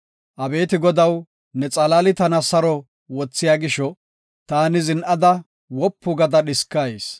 Abeeti Godaw, ne xalaali tana saro wothiya gisho, taani zin7ada wopu gada dhiskayis.